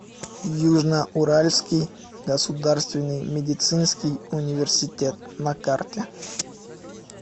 южно уральский государственный медицинский университет на карте